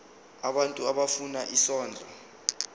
abantu abafuna isondlo